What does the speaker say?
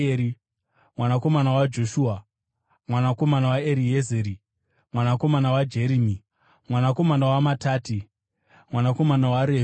mwanakomana waJoshua, mwanakomana waEriezeri, mwanakomana waJerimi, mwanakomana waMatati, mwanakomana waRevhi,